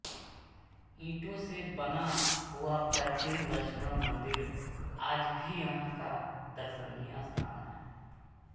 ईंटों से बना हुआ प्राचीन लक्ष्मण मंदिर आज भी यहाँ का दर्शनीय स्थान है